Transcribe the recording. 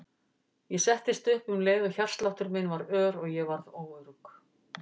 Ég settist upp um leið og hjartsláttur minn varð ör og ég varð óörugg.